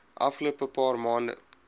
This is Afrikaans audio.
afgelope paar maande